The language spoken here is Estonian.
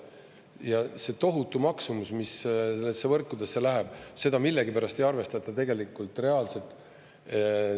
Ja see tohutu maksumus, mis sellesse võrkudesse läheb, seda millegipärast ei arvestata tegelikult reaalselt.